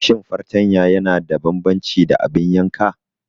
Shin fartanya yana da bambanci da abin yanka?